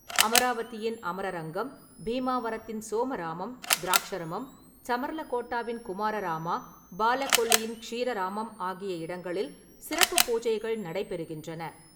அமராவதியின் அமரரங்கம், பீமாவரத்தின் சோமராமம், திராக்ஷரமம், சமர்லகோட்டாவின் குமாரராமா, பாலகொல்லியின் ஷீரராமம் ஆகிய இடங்களில் சிறப்பு பூஜைகள் நடைபெறுகின்றன.